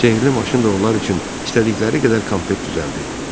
Sehrli maşın da onlar üçün istədikləri qədər konfet düzəldirdi.